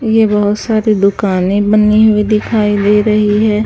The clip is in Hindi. ये बहोत सारी दुकानें बनी हुई दिखाई दे रही है।